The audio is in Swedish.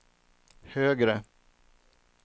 högre